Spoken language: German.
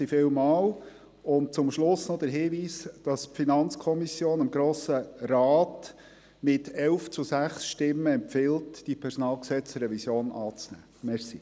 Zum Schluss möchte ich darauf hinweisen, dass die FiKo dem Grossen Rat mit 11 zu 6 Stimmen empfiehlt, die PG-Revision anzunehmen.